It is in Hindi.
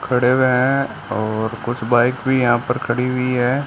खड़े हुए हैं और कुछ बाइक भी यहां पर खड़ी हुई हैं।